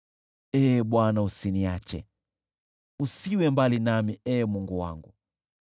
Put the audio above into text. Ee Bwana , usiniache, usiwe mbali nami, Ee Mungu wangu.